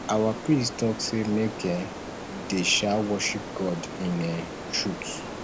our priest talk say make um we dey um worship god in um truth